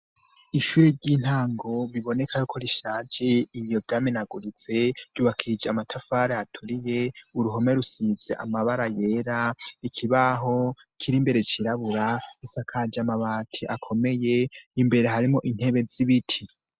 Ishuri ry'intango bibonekako rishaje inyogame naguritse ryubakije amatafari aturiye uruhome rusize amabara yera ikibaho kiri imbere cirabura isakaje amabati akomeye imbere harimo intebe z'ibiti.